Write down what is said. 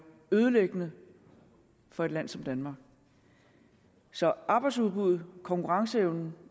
ødelæggende for et land som danmark så arbejdsudbuddet og konkurrenceevne